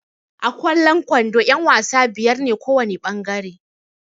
A kwallon kwando ƴan-wasa biyar ne kowana ɓangare.